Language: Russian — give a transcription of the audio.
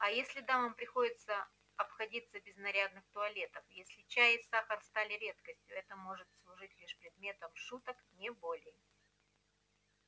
а если дамам приходится обходиться без нарядных туалетов если чай и сахар стали редкостью это может служить лишь предметом шуток не более